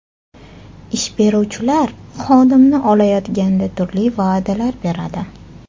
Ish beruvchilar xodimni olayotganida turli va’dalar beradi.